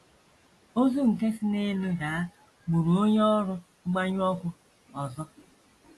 Ozu nke si n’elu daa gburu onye ọrụ mgbanyụ ọkụ ọzọ.